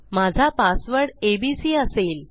माझा password ABC असेल